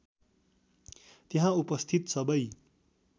त्यहाँ उपस्थित सबै